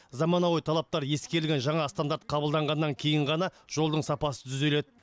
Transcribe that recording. заманауи талаптар ескерілген жаңа стандарт қабылданғаннан кейін ғана жолдың сапасы түзеледі